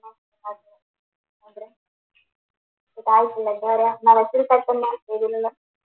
ഇതായിട്ടില്ലേ എന്നാ പറയാ